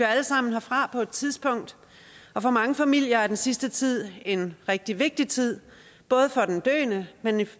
alle sammen herfra på et tidspunkt og for mange familier er den sidste tid en rigtig vigtig tid både for den døende men i